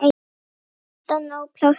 Alltaf nóg pláss fyrir alla.